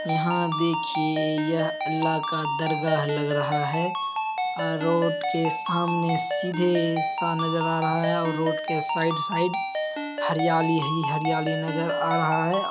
यहाँ देखिए यह अल्लाह का दरगाह लग रहा है आ रोड के सामने सीधे सा नज़र आ रहा है और रोड के साइड साइड हरियाली ही हरियाली नज़र आ रहा है ।